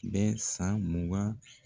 Bɛ san mugan